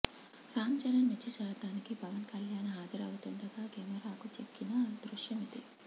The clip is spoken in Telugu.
రామ్ చరణ్ నిశ్చితార్థానికి పవన్ కళ్యాన్ హాజరవుతుండగా కెమరాకు చిక్కిన దృశ్యమిది